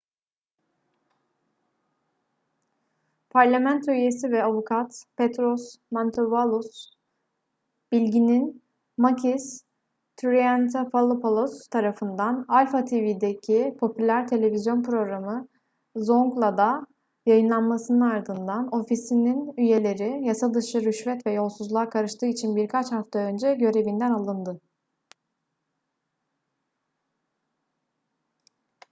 parlamento üyesi ve avukat petros mantouvalos bilginin makis triantafylopoulos tarafından alpha tv'deki popüler televizyon programı zoungla"da yayınlanmasının ardından ofisinin üyeleri yasadışı rüşvet ve yolsuzluğa karıştığı için birkaç hafta önce görevinden alındı